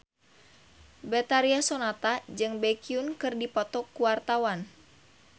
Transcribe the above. Betharia Sonata jeung Baekhyun keur dipoto ku wartawan